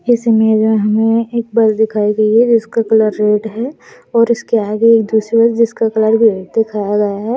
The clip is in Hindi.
एस इमेज हमें एक बस दिखाई गयी है जिसका कलर रेड है और इसके आगे एक दुसरी बस जिसका कलर भी रेड दिखाया गया है।